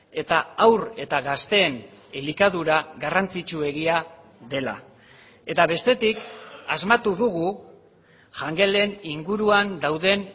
eta haur eta gazteen elikadura garrantzitsuegia dela eta bestetik asmatu dugu jangelen inguruan dauden